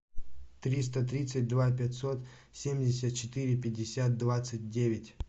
триста тридцать два пятьсот семьдесят четыре пятьдесят двадцать девять